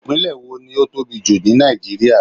Ìpínlẹ̀ wo ni ó tóbi jù ní Nàìjíríà.